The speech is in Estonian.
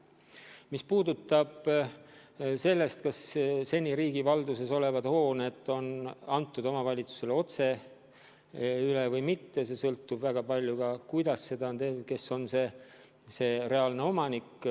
Mis puudutab seda, kas seni riigi valduses olnud hooneid on antud omavalitsusele otse üle või mitte, siis väga palju sõltub sellest, kes on olnud reaalne omanik.